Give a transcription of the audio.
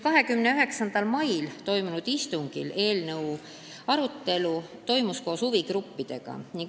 29. mail toimunud istungil toimus eelnõu arutelu koos huvigruppidega.